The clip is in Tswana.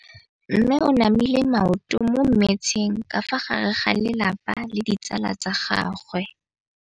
Mme o namile maoto mo mmetseng ka fa gare ga lelapa le ditsala tsa gagwe.